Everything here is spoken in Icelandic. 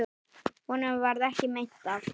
Honum varð ekki meint af.